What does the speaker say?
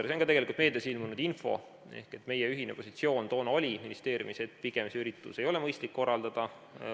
See on ka tegelikult meedias ilmunud info, et meie ühine positsioon toona ministeeriumis oli, et pigem ei ole seda üritust mõistlik korraldada.